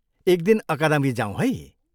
एक दिन अकादमी जाऊँ है!